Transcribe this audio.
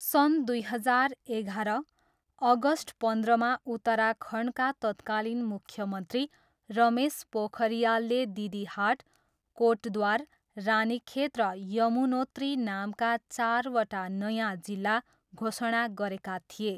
सन् दुई हजार एघार, अगस्ट पन्ध्रमा उत्तराखण्डका तत्कालीन मुख्यमन्त्री रमेश पोखरियालले दिदिहाट, कोटद्वार, रानीखेत र यमुनोत्री नामका चारवटा नयाँ जिल्ला घोषणा गरेका थिए।